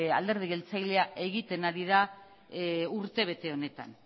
alderdi jeltzalea egiten ari da urtebete honetan